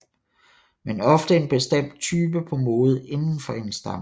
Men ofte en bestemt type på mode inden for en stamme